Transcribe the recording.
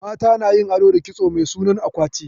Mata na yin ado da kitso mai sunan akwati